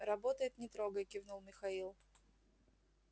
работает не трогай кивнул михаил